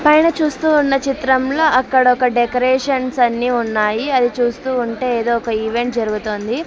పైన చూస్తూ ఉన్న చిత్రంలో అక్కడ ఒక డెకరేషన్స్ అన్నీ ఉన్నాయి అది చూస్తూ ఉంటే ఏదో ఒక ఈవెంట్ జరుగుతోంది.